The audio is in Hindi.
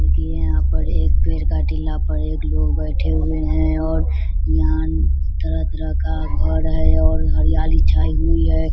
रुकी है यहां पर एक पेड़ के टीला पर एक लोग बैठे हुए है और यहां तरह-तरह का घर है और हरियाली छायी हुई है